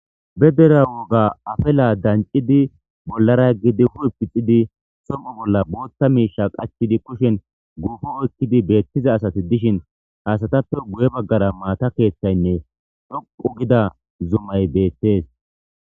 bedera woga afela dancidi bollara gidi hu7u pixidi som7u bolla bootta miisha qachidi kushin guufo oykkidi beettiza asati dishin haasatappe guye baggara maata keeththaynne dhouqu gida zumay beettes